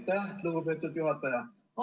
Aitäh, lugupeetud juhataja!